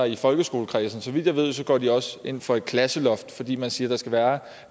i folkeskoleforligskredsen vidt jeg ved går de også ind for et klasseloft fordi man siger at der skal være